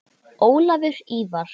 Ólafur Ívar.